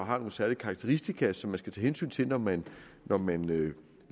og har nogle særlige karakteristika som man skal tage hensyn til når man når man